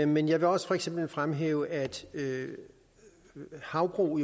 men jeg vil også for eksempel fremhæve at havbrug